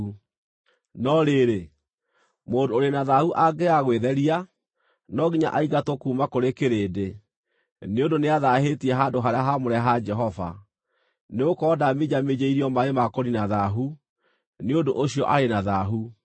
No rĩrĩ, mũndũ ũrĩ na thaahu angĩaga gwĩtheria, no nginya aingatwo kuuma kũrĩ kĩrĩndĩ, nĩ ũndũ nĩathaahĩtie handũ-harĩa-haamũre ha Jehova. Nĩgũkorwo ndaminjaminjĩirio maaĩ ma kũniina thaahu, nĩ ũndũ ũcio arĩ na thaahu.